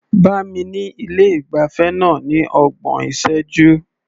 Bá mi ní ilé ìgbafẹ́ náà ní ọgbọ̀n ìṣẹ́jú.